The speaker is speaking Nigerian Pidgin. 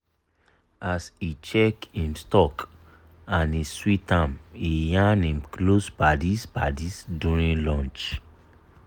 as e check him stock and e sweet am e yarn him close paddies paddies during lunch.